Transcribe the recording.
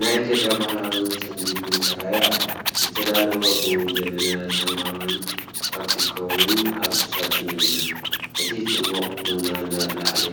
ናይ ኢትዮጵያ ባህላዊ ጽምዲ ቡን ተራእዩ ኣሎ። ዝተዳለወ ቡን፡ ጀበና፡ ሳምባባን ፖፕኮርንን ኣብ ሳጹን ይቕመጥ። እቲ ጽማቝ ቡን ናብ ላዕሊ